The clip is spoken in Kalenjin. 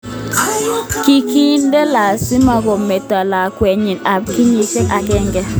Kikinde lasima kometo lakwet nyin ab kenyit aenge.